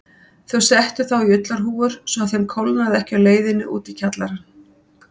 Þau settu þá í ullarhúfur svo að þeim kólnaði ekki á leiðinni út í kjallarann.